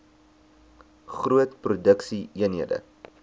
groot produksie eenhede